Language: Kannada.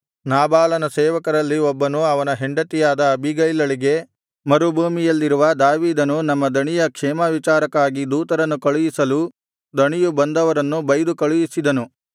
ನಾಬಾಲನ ಸೇವಕರಲ್ಲಿ ಒಬ್ಬನು ಅವನ ಹೆಂಡತಿಯಾದ ಅಬೀಗೈಲಳಿಗೆ ಮರುಭೂಮಿಯಲ್ಲಿರುವ ದಾವೀದನು ನಮ್ಮ ಧಣಿಯ ಕ್ಷೇಮವಿಚಾರಕ್ಕಾಗಿ ದೂತರನ್ನು ಕಳುಹಿಸಲು ಧಣಿಯು ಬಂದವರನ್ನು ಬೈದನು ಕಳುಹಿಸಿದನು